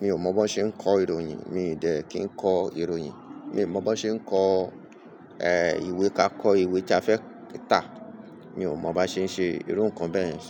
Mi ò mọ̀ bó ṣe ń kọ ìròyìn, mi ò dẹ̀ kí ń kọ ìròyìn. Mi ò mọ̀ bó ṣe ń kọ, ìwé ká kọ ìwé tí a fẹ́ kà tá. Mi ò mọ̀ bá ṣe ń ṣe irú nǹkan bẹ́ẹ̀ ni.